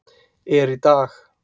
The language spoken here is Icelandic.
er í dag.